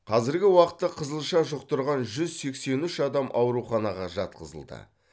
қазіргі уақытта қызылша жұқтырған жүз сексен үш адам ауруханаға жатқызылды